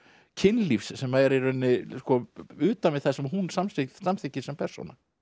kynlífs sem er utan við það sem hún samþykkir samþykkir sem persóna